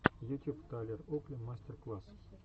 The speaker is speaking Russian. ютюб тайлер окли мастер класс